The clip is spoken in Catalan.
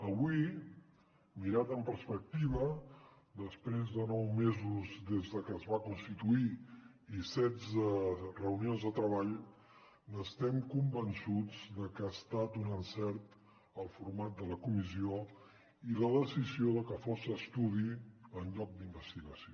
avui mirat amb perspectiva després de nou mesos des de que es va constituir i setze reunions de treball estem convençuts de que ha estat un encert el format de la comissió i la decisió de que fos estudi en lloc d’investigació